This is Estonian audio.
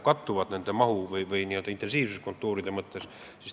Kas need mahu või intensiivsuse mõttes üks ühele kattuvad?